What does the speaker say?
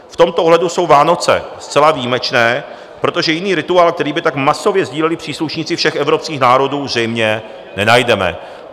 V tomto ohledu jsou Vánoce zcela výjimečné, protože jiný rituál, který by tak masově sdíleli příslušníci všech evropských národů, zřejmě nenajdeme."